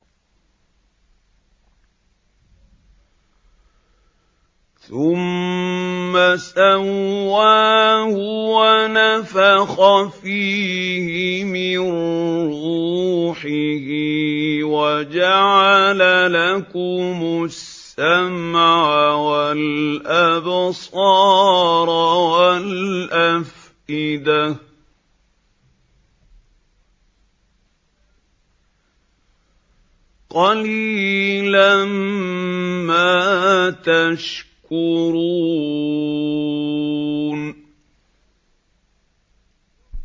ثُمَّ سَوَّاهُ وَنَفَخَ فِيهِ مِن رُّوحِهِ ۖ وَجَعَلَ لَكُمُ السَّمْعَ وَالْأَبْصَارَ وَالْأَفْئِدَةَ ۚ قَلِيلًا مَّا تَشْكُرُونَ